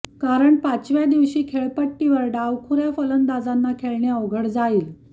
कारण पाचव्या दिवशी खेळपट्टीवर डावखुऱ्या फलंदाजांना खेळणे अवघड जाईल